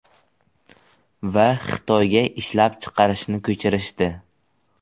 Va Xitoyga ishlab chiqarishni ko‘chirishdi.